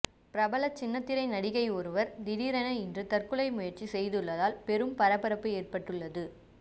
பிரபல சின்னத்திரை நடிகை ஒருவர் திடீரென இன்று தற்கொலை முயற்சி செய்துள்ளதால் பெரும் பரபரப்பு ஏற்பட்டுள்ளது